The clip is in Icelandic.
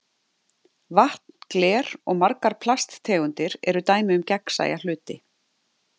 Vatn, gler og margar plasttegundir eru dæmi um gegnsæja hluti.